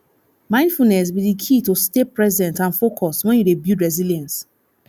mindfulness be di key to stay present and focused when you dey build resilience